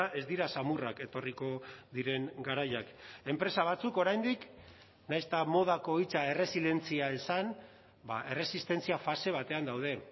ez dira samurrak etorriko diren garaiak enpresa batzuk oraindik nahiz eta modako hitza erresilientzia esan erresistentzia fase batean daude